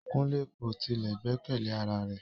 Kunle ko tile gbẹkẹle ara rẹ